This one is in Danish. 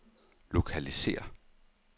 lokalisér